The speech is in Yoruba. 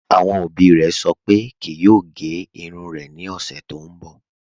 Awọn obì rẹ̀ sọ̀ pé kíì yòò gẹ̀ irùn rẹ̀ ni ọṣẹ̀ tó nbọ